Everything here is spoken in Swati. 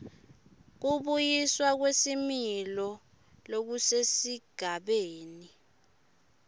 kubuyiswa kwesimilo lokusesigabeni